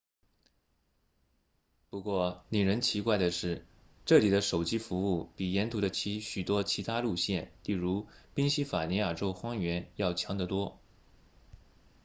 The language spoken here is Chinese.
不过令人奇怪的是这里的手机服务比沿途的许多其他路线例如宾夕法尼亚州荒原要强得多